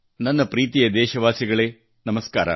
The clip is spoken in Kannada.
ನನ್ನ ಪ್ರೀತಿಯ ದೇಶವಾಸಿಗಳೇ ನಮಸ್ಕಾರ